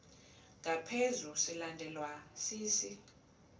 ngaphezu silandelwa sisi